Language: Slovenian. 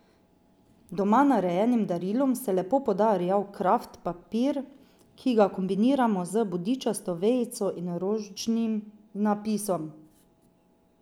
Doma narejenim darilom se lepo poda rjav kraft papir, ki ga kombiniramo z bodičasto vejico in ročnim napisom.